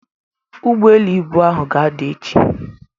Ụgbọelu ibu ahụ ga-ada echi.